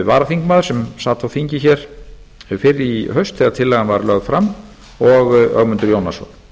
varaþingmaður sem sat á þingi hér fyrr í haust þegar tillagan var lögð fram og ögmundur jónasson